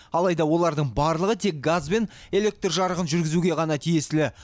алайда олардың барлығы тек газ бен электр жарығын жүргізуге ғана тиесілі